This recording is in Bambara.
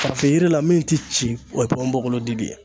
Farafin yiri la min ti ci o ye ponponbogolo yiri de ye.